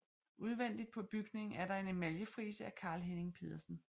Udvendigt på bygningen er der en emaljefrise af Carl Henning Pedersen